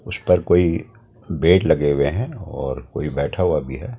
उस पर कोई बेड लगे हुए हैं और कोई बैठा हुआ भी है।